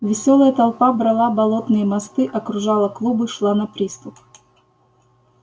весёлая толпа брала болотные мосты окружала клубы шла на приступ